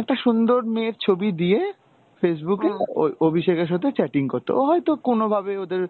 একটা সুন্দর মেয়ের ছবি দিয়ে Facebook এ অ~অভিষেকের সাথে chatting করতো, ও হয়তো কোনোভাবে ওদের